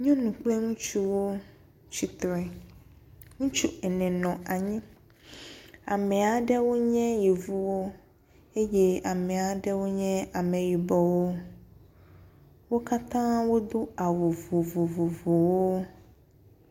Nyɔnu kple ŋutsuwo tsi tre, ŋutsu ene nɔ anyi. Ame aɖewo nye yevuwo eye ame aɖewo nye ameyibɔwo. Wo katã wodo awu vovovowo.